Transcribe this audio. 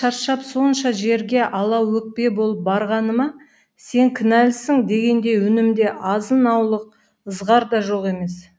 шаршап сонша жерге алаөкпе болып барғаныма сен кінәлісің дегендей үнімде азын аулық ызғар да жоқ емес